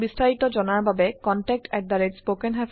আৰু বিস্তাৰিত জনাৰ বাবে contactspoken tutorialorg ত যোগযোগ কৰক